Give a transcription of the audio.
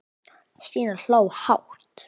Stína hló hátt.